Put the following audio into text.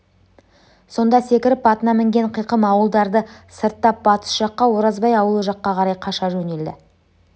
сонда секіріп атына мінген қиқым ауылдарды сырттап батыс жаққа оразбай аулы жаққа қарай қаша жөнелді